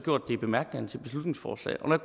i bemærkningerne til beslutningsforslaget når